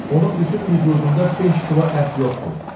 Onun bütün vücudunda 5 kilo ət yoxdur.